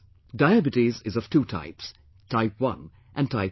Diabetes is of two types Type 1 and Type 2